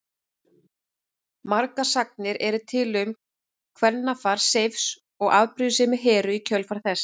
Margar sagnir eru til um kvennafar Seifs og afbrýðisemi Heru í kjölfar þess.